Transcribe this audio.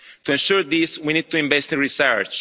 To ensure this, we need to invest in research.